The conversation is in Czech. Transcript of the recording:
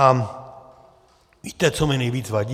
A víte, co mi nejvíc vadí?